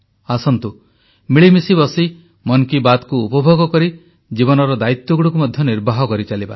ଆସନ୍ତୁ ମିଳିମିଶି ବସି ମନ୍ କି ବାତ୍କୁ ଉପଭୋଗ କରି ଜୀବନର ଦାୟିତ୍ୱଗୁଡ଼ିକୁ ମଧ୍ୟ ନିର୍ବାହ କରିଚାଲିବା